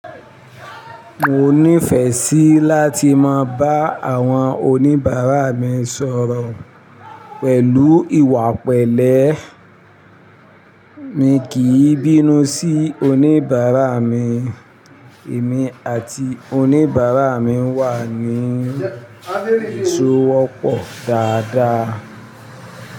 Mo nífẹẹ sí láti máa bá àwọn oníbàárà mi sọ̀rọ̀ pẹ̀lú ìwà pẹ̀lẹ́. Mi kì í bínú sí oníbàárà mi, èmi àti oníbàárà mi wà ní ìsọ́wọ́pọ̀ dáadáa.